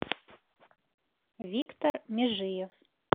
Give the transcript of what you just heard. виктор межиев